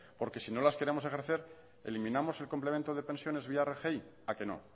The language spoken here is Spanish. porque si no las queremos ejercer eliminamos el complemento de pensiones vía rgi a qué no